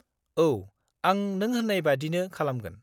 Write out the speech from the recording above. औ, आं नों होननाय बायदिनो खालामगोन।